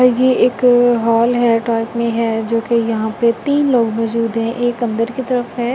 ये एक हॉल है टाइप में है जो कि यहां पे तीन लोग मौजूद हैं एक अंदर की तरफ है। --